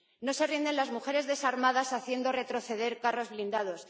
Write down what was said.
No se rinden las mujeres desarmadas haciendo retroceder carros blindados.